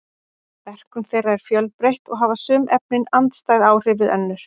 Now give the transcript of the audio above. Verkun þeirra er fjölbreytt og hafa sum efnin andstæð áhrif við önnur.